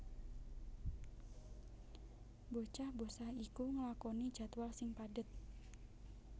Bocah bosah iku nglakoni jadwal sing padhet